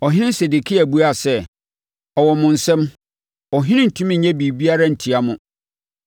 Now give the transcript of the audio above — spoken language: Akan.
Ɔhene Sedekia buaa sɛ, “Ɔwɔ mo nsam, ɔhene rentumi nyɛ biribiara ntia mo.”